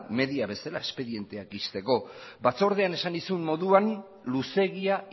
media bezala espedienteak ixteko batzordean esan nizun moduan luzeegia